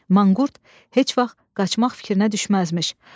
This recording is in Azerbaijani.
Manqurt heç vaxt qaçmaq fikrinə düşməzmiş.